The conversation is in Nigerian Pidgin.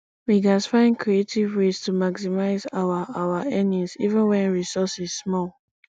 we gats find creative ways to maximize our our earnings even wen resources small